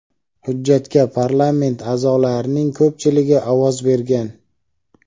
Hujjatga parlament a’zolarining ko‘pchiligi ovoz bergan.